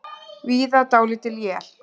Víða dálítil él